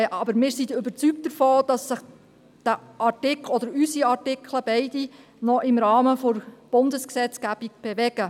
Aber wir sind überzeugt, dass sich unsere Artikel beide noch im Rahmen der Bundesgesetzgebung bewegen.